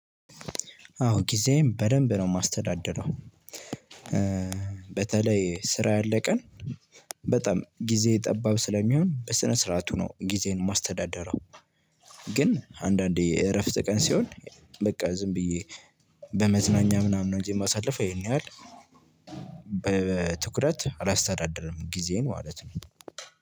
አወ ጊዜየን በደንብ ነው የማስተዳድረው። በተለይ ስራ ያለ ቀን በጣም ጊዜ ጠባብ ስለሚሆን በስነ ስርዓቱ ነው ጊዜዬን የማስተዳደረው። ግን አንዳንዴ የእረፍት ቀን ሲሆን በቃ ዝም ብዬ በመዝናኛ ምናምን ነው እንጂ የማሳልፈው። ይሄን ያህል በትኩረት አላስተዳድርም ጊዜን ማለት ነው።